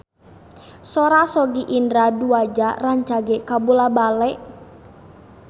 Sora Sogi Indra Duaja rancage kabula-bale